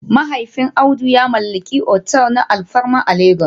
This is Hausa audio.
Mahaifin Audu ya mallaki otel na alfarma a Legas